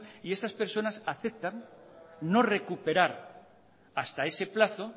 y estas personas aceptan no recuperar hasta ese plazo